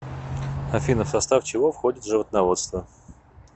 афина в состав чего входит животноводство